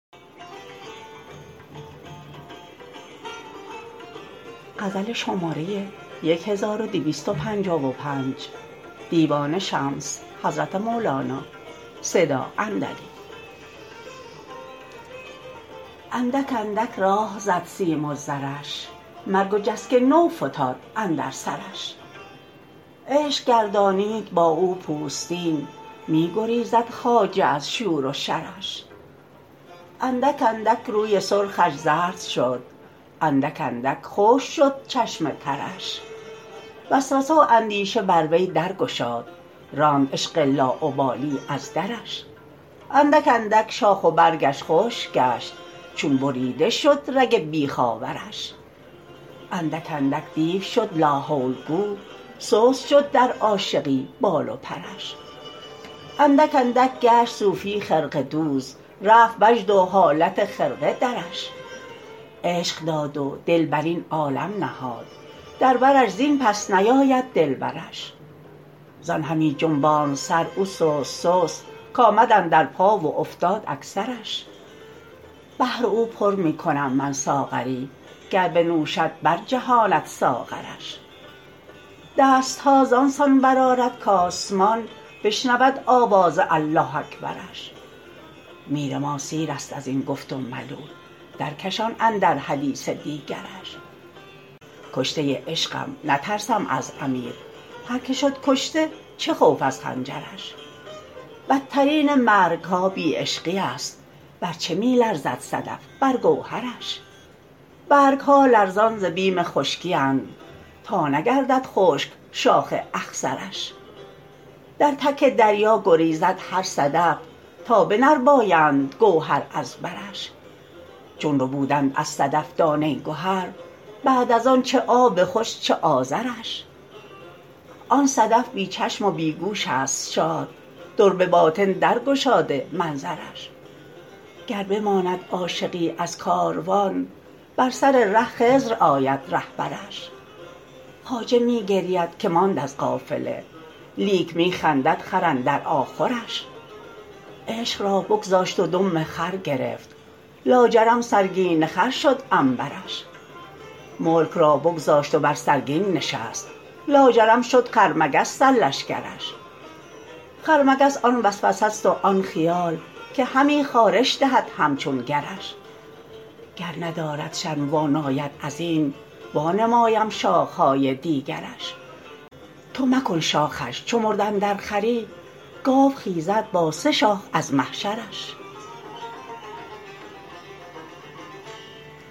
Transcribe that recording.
اندک اندک راه زد سیم و زرش مرگ و جسک نو فتاد اندر سرش عشق گردانید با او پوستین می گریزد خواجه از شور و شرش اندک اندک روی سرخش زرد شد اندک اندک خشک شد چشم ترش وسوسه و اندیشه بر وی در گشاد راند عشق لاابالی از درش اندک اندک شاخ و برگش خشک گشت چون بریده شد رگ بیخ آورش اندک اندک دیو شد لاحول گو سست شد در عاشقی بال و پرش اندک اندک گشت صوفی خرقه دوز رفت وجد و حالت خرقه درش عشق داد و دل بر این عالم نهاد در برش زین پس نیاید دلبرش زان همی جنباند سر او سست سست کآمد اندر پا و افتاد اکثرش بهر او پر می کنم من ساغری گر بنوشد برجهاند ساغرش دست ها زان سان برآرد کآسمان بشنود آواز الله اکبرش میر ما سیرست از این گفت و ملول درکشان اندر حدیث دیگرش کشته عشقم نترسم از امیر هر کی شد کشته چه خوف از خنجرش بترین مرگ ها بی عشقی است بر چه می لرزد صدف بر گوهرش برگ ها لرزان ز بیم خشکی اند تا نگردد خشک شاخ اخضرش در تک دریا گریزد هر صدف تا بنربایند گوهر از برش چون ربودند از صدف دانه گهر بعد از آن چه آب خوش چه آذرش آن صدف بی چشم و بی گوش است شاد در به باطن درگشاده منظرش گر بماند عاشقی از کاروان بر سر ره خضر آید رهبرش خواجه می گرید که ماند از قافله لیک می خندد خر اندر آخرش عشق را بگذاشت و دم خر گرفت لاجرم سرگین خر شد عنبرش ملک را بگذاشت و بر سرگین نشست لاجرم شد خرمگس سرلشکرش خرمگس آن وسوسه ست و آن خیال که همی خارش دهد همچون گرش گر ندارد شرم و واناید از این وانمایم شاخ های دیگرش تو مکن شاخش چو مرد اندر خری گاو خیزد با سه شاخ از محشرش